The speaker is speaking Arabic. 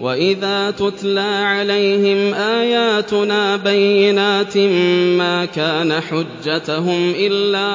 وَإِذَا تُتْلَىٰ عَلَيْهِمْ آيَاتُنَا بَيِّنَاتٍ مَّا كَانَ حُجَّتَهُمْ إِلَّا